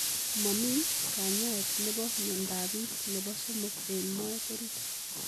Mamii kanyaet nepo miondop piik nepo somok eng moet oriit